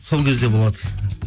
сол кезде болады